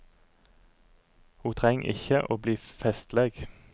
Ho treng ikkje å bli festleg.